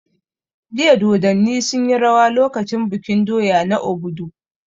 Jiya Dodanni sun yi rawa lokacin bikin doya na Obodu